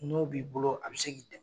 N'o b'i bolo a be se k'i dɛmɛ